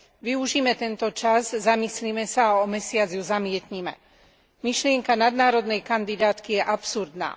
Využime tento čas, zamyslime sa a o mesiac ju zamietnime. Myšlienka nadnárodnej kandidátky je absurdná.